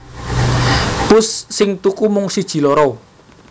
Pusss sing tuku mung siji loro